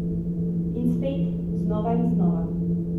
In spet, znova in znova.